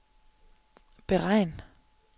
beregn